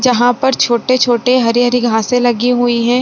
जहाँ पर छोटे-छोटे हरी-हरी घासें लगी हुई हैं।